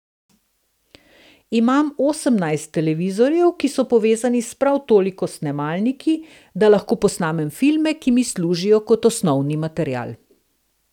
Imam osemnajst televizorjev, ki so povezani s prav toliko snemalniki, da lahko posnamem filme, ki mi služijo kot osnovni material.